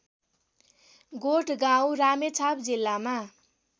गोठगाउँ रामेछाप जिल्लामा